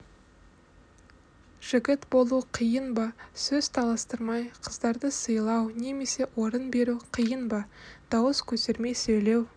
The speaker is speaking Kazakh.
жігіт болу қиын ба сөз таластырмай қыздарды сыйлау немесе орын беру қиын ба дауыс көтермей сөйлеу